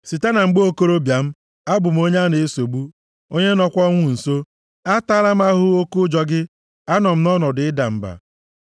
Site na mgbe okorobịa m, abụ m onye a na-esogbu, onye nọkwa ọnwụ nso; ataala m ahụhụ oke ụjọ gị, anọ m nʼọnọdụ ịda mba.